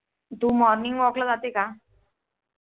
तू Morning walk ला जाते का?